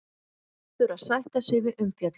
Verður að sætta sig við umfjöllun